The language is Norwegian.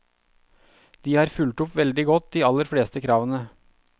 De har fulgt opp veldig godt de aller fleste kravene.